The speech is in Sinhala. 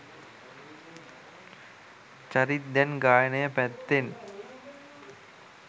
චරිත් දැන් ගායනය පැත්තෙන්